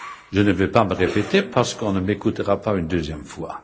Je ne vais donc pas me répéter, parce qu'on ne m'écoutera pas une deuxième fois.